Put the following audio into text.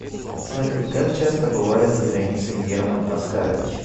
салют как часто бывает за границей герман оскарович